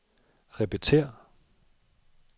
repetér